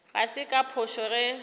ga se ka phošo ge